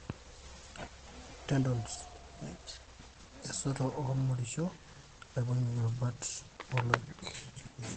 Tendons(esoto olmoriosho naibungie irubat oloik,)